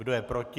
Kdo je proti?